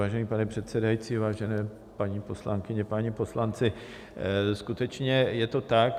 Vážený pane předsedající, vážené paní poslankyně, páni poslanci, skutečně je to tak.